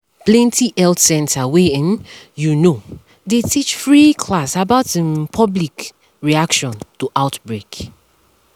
plenty health center wey um you know dey teach free class about um public um reaction to outbreak